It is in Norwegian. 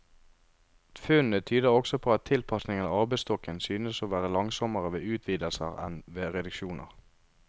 Funnene tyder også på at tilpasningen av arbeidsstokken synes å være langsommere ved utvidelser enn ved reduksjoner.